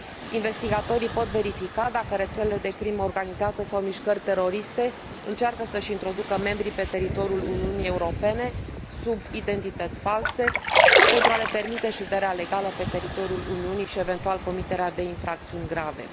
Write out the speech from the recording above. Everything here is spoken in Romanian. Investigatorii pot verifica dacă rețele de crimă organizată sau mișcări teroriste încearcă să și introducă membrii pe teritoriul Uniunii Europene sub identități false, pentru a le permite șederea legală pe teritoriul Uniunii și, eventual, comiterea de infracțiuni grave.